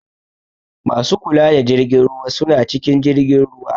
Masu kula da jirgin ruwa suna cikin jirgin ruwa.